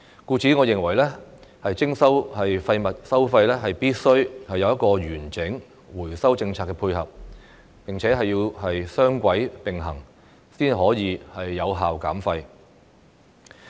故此，我認為徵收廢物收費，必須有完整的回收政策配合，雙軌並行，才可以有效減廢。